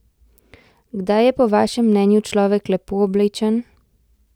Kdaj je po vašem mnenju človek lepo oblečen?